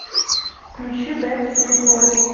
включи бэкстрит бойс